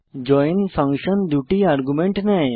join function 2 টি argument নেয়